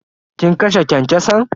Kin kashe kyankyason?